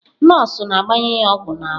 Nọọsụ na-gbanye ya ogwu na ahu.